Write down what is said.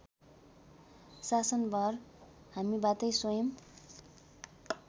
शासनभार हामीबाटै स्वयं